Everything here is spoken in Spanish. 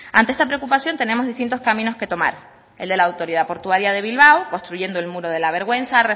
ante esta preocupación tenemos distintos caminos que tomar el de la autoridad portuaria de bilbao construyendo el muro de la vergüenza